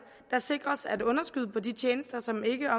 sikres at underskud på de tjenester som ikke